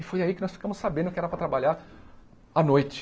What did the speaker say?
E foi aí que nós ficamos sabendo que era para trabalhar à noite.